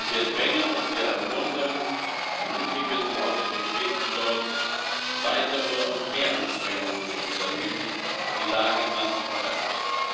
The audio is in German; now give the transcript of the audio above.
Wir drängen und wir ermuntern, ermutigen die Autoritäten dort, weitere und mehr Anstrengungen zu unternehmen, die Lage im Land zu verbessern.